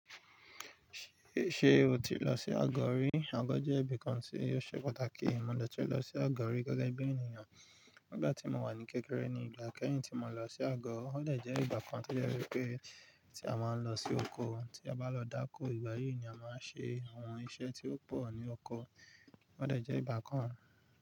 Ṣé, ṣe o ti lọ sí àgọ̀ rí? Àgọ̀ jẹ́ ibìkan tí ó ṣe pàtàkì. Mo lọ tún lọ sí àgọ̀ rí gẹ́gẹ́ bí ènìyàn nígbà tí mo wà ní kékeré ní ìgbà kẹ́yin tí mo lọ sí àgọ̀. Òdẹ̀ jẹ́ ìgbà kan tí ó jẹ́ wípé tí a máa ń lọ sí oko tí a bá lọ dáko. Ìgbà yìí ni a máa ń ṣe àwọn iṣẹ́ tí ó pọ̀ ní oko. Òdẹ̀ jẹ́ ìgbà kan.